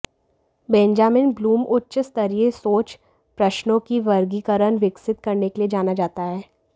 Benjamin Bloom उच्च स्तरीय सोच प्रश्नों की वर्गीकरण विकसित करने के लिए जाना जाता है